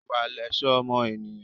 Ìwà lẹ̀ṣọ́ ọmọ ènìyàn.